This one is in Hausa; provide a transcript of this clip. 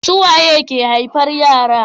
Su waye ke haifar yara